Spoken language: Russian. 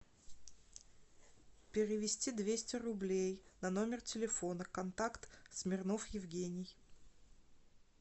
перевести двести рублей на номер телефона контакт смирнов евгений